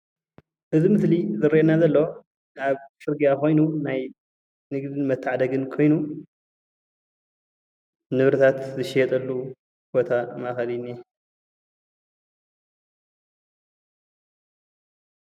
እዚ ምስሊ ዝረአየና ዘሎ ኣብ ፅርግያ ኮይኑ ናይ ንግዲ መተዓዳደጊ ኮይኑ ንብረታት ዝሽየጠሉ ቦታ ማእከል እዩ እንአ፡፡